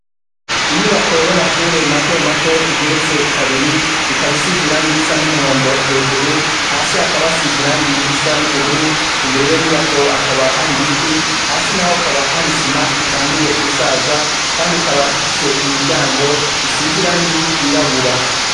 Inyubako y'amashure matomato igeretse kabiri ikaba isize irangi risa n'umuhondo hejuru, hasi hakaba hasize irangi risa n'ubururu, imbere y'iyo nyubako hakaba hari ibiti, hasi naho hakaba hari isima itanguye gusaza kandi ikaba ifise imiryago isize irangi ryirabura.